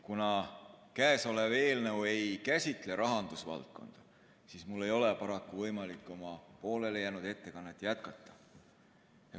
Kuna käesolev eelnõu ei käsitle rahandusvaldkonda, siis ei ole mul paraku võimalik oma poolelijäänud ettekannet jätkata.